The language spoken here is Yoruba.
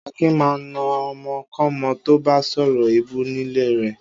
Akin máa ń na ọmọkọ́mọ tó bá sọ̀rọ̀ èébú nílé rẹ̀.